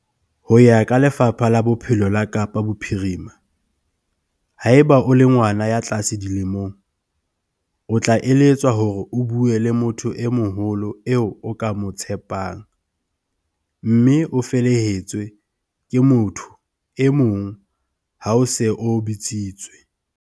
Ho ya ka Lefapha la Bophelo la Kapa Bophirima, haeba o le ngwana ya tlase dilemong, o tla eletswa hore o bue le motho e moholo eo o ka mo tshepang, mme o felehetswe ke motho e mong ha o se o bitsitswe.